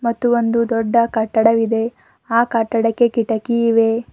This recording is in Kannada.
ಮತ್ತು ಒಂದು ದೊಡ್ಡ ಕಟ್ಟಡವಿದೆ ಆ ಕಟ್ಟಡಕ್ಕೆ ಕಿಟಕಿ ಇವೆ.